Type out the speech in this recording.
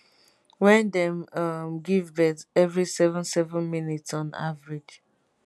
wen dem um give birth evri seven seven minutes on average